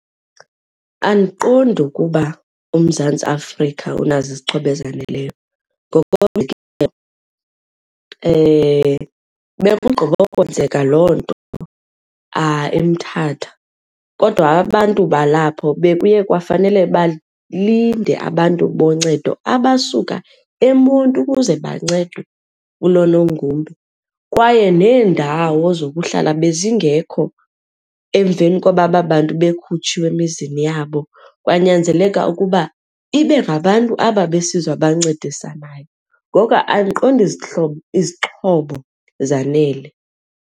Andiqondi ukuba uMzantsi Afrika unazo izixhobo ezaneleyo. Bekugqibokwenzeka loo nto eMthatha kodwa abantu balapho bekuye kwafanele balinde abantu boncedo abasuka eMonti ukuze bancedwe kulo nogumbe. Kwaye neendawo zokuhlala bezingekho emveni koba aba bantu bekhutshiwe emizini yabo, kwanyanzeleka ukuba ibe ngabantu aba besizwe abancedisanayo. Ngoko andiqondi izihlobo, izixhobo zanele.